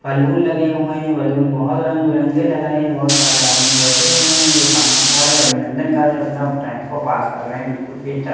balloon लगे हुए हैं बैलून बहुत रंग बिरंगे लग रहे हैं बहुत सारे आदमी बैठे हुए हैं जो खाना खा रहे अभिनंदन कर रहे अपना टाइम को पास कर रहे हैं बिल्कुल भी अच्छा--